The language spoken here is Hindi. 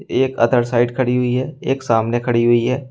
एक अदर साइड खड़ी हुई है एक सामने खड़ी हुई है।